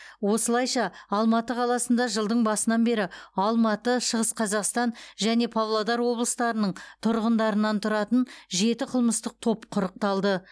осылайша алматы қаласында жылдың басынан бері алматы шығыс қазақстан және павлодар облыстарының тұрғындарынан тұратын жеті қылмыстық топ құрықталды